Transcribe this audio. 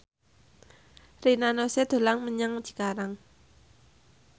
Rina Nose dolan menyang Cikarang